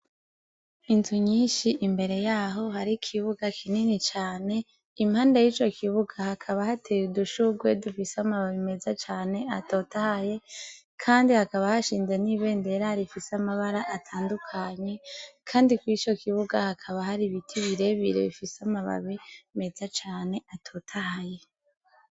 Inzu nyinshi imbere yaho hari kibuga kinini cane impanda y'ico kibuga hakaba hateye udushugwe dufise amababi meza cane atotahaye ,kandi hakaba hashinze n'ibendere ari ifise amabara atandukanye kandi ku ico kibuga hakaba hari ibiti birebire bifise amababi meza Cane atotahaye.